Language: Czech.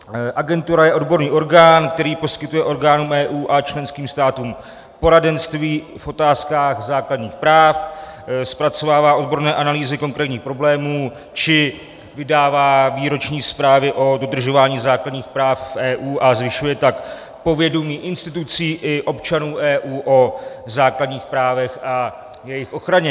Agentura je odborný orgán, který poskytuje orgánům EU a členským státům poradenství v otázkách základních práv, zpracovává odborné analýzy konkrétních problémů či vydává výroční zprávy o dodržování základních práv v EU, a zvyšuje tak povědomí institucí i občanů EU o základních právech a jejich ochraně.